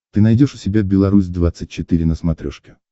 ты найдешь у себя беларусь двадцать четыре на смотрешке